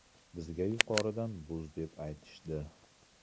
Bizga yuqoridan buz deb aytishdi.